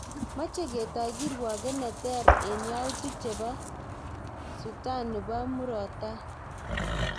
Meche ketoi kirwoget ne ter eng yautik chebo Sutan nebo murot tai